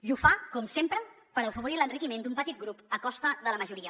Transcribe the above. i ho fa com sempre per afavorir l’enriquiment d’un petit grup a costa de la majoria